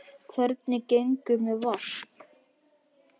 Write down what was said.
Hvernig gengur með Vask?